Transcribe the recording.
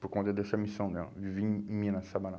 Por conta dessa missão dela, vivia em Minas,